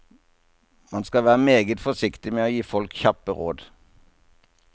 Man skal være meget forsiktig med å gi folk kjappe råd.